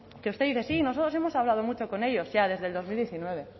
que usted dice sí nosotros hemos hablado mucho con ellos ya desde el dos mil diecinueve